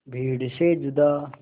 भीड़ से जुदा